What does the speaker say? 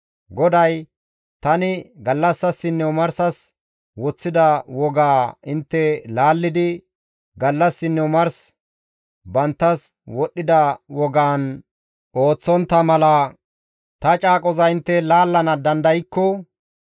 GODAY, «Tani gallassasinne omarsas woththida wogaa intte laallidi gallassinne omarsi banttas wodhdhida wogaan ooththontta mala ta caaqoza intte laallana dandaykko,